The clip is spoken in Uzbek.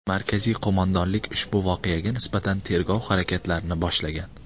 Markaziy qo‘mondonlik ushbu voqeaga nisbatan tergov harakatlarini boshlagan.